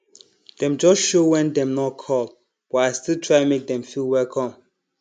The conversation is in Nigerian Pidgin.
dem just show wen dem nor call but i still try make dem feel welcome